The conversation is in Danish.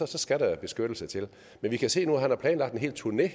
så skal der beskyttelse til men vi kan se nu at han har planlagt en helt turné